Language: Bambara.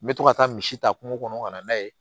N bɛ to ka taa misi ta kungo kɔnɔ ka na n'a ye